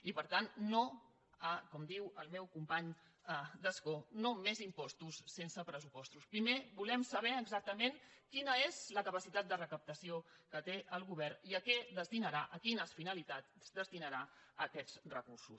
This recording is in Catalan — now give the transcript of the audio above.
i per tant no com diu el meu company d’escó no més impostos sense pressupostos primer volem saber exactament quina és la capacitat de recaptació que té el govern i a què destinarà a quines finalitats destinarà aquests recursos